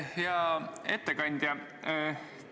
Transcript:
Hea ettekandja!